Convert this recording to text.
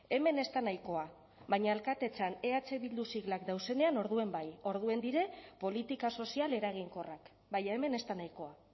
hemen ez da nahikoa baina alkatetzan eh bildu siglak dauzenean orduen bai orduen dire politika sozial eraginkorrak baina hemen ez da nahikoa